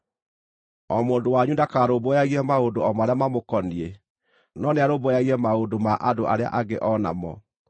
O mũndũ wanyu ndakarũmbũyagie maũndũ o marĩa mamũkoniĩ, no nĩarũmbũyagie maũndũ ma andũ arĩa angĩ o namo.